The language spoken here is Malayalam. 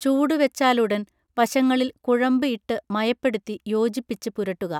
ചൂട് വെച്ചാലുടൻ വശങ്ങളിൽ കുഴമ്പ് ഇട്ട് മയപ്പെടുത്തി യോജിപ്പിച്ച് പുരട്ടുക